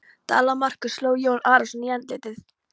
Dala-Markús sló Jón Arason í andlitið.